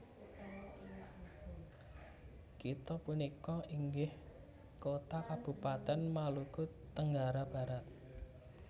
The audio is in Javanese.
Kitha punika inggih kota kabupaten Maluku Tenggara Barat